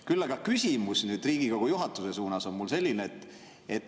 Küll aga küsimus Riigikogu juhatuse suunas on mul selline.